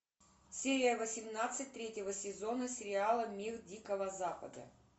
серия восемнадцать третьего сезона сериала мир дикого запада